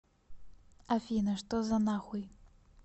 афина что за нахуй